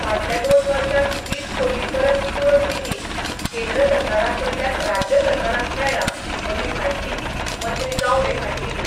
फाटल्या दोन वर्षांत वीस कोटी परस चड निधी केंद्र सरकाराकडल्यान राज्य सरकारक मेळ्ळा अशी म्हायती मंत्री गावडे हांणी दिली.